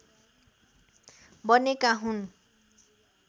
बनेका हुन्